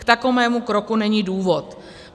K takovému kroku není důvod.